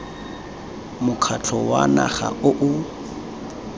mokgatlho wa naga o o